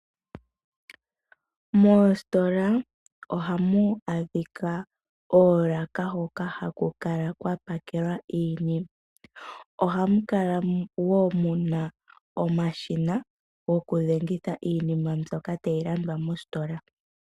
Moositola ohamu adhika oolaka hoka haku kala kwa pakelwa iinima. Ohamu kala wo mu na omashina gokudhengitha iinima mbyoka tayi landwa moositola.